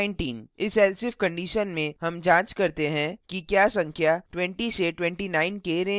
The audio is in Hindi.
इस else if condition में हम जांच करते हैं कि क्या संख्या 2029 के range की है